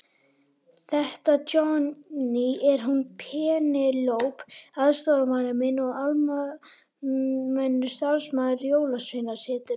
Þetta Johnny, er hún Penélope aðstoðarmaður minn og almennur starfsmaður Jólasveinasetursins.